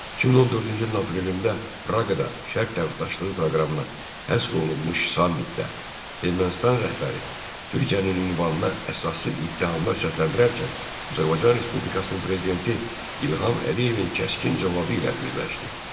2014-cü ilin aprelində Praqada Şərq tərəfdaşlığı proqramına həsr olunmuş sammitdə Ermənistan rəhbəri Türkiyənin ünvanına əsassız ittihamlar səsləndirərkən Azərbaycan Respublikasının Prezidenti İlham Əliyevin kəskin cavabı ilə üzləşdi.